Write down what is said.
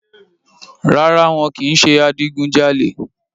Rárá, wọn ò kì ń ṣe adigun jalè